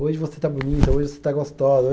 Hoje você está bonita, hoje você está gostosa.